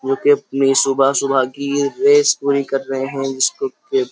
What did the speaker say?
जो कि अपनी सुबह सुबह की रेस पूरी कर रहे हैं जिसको कि --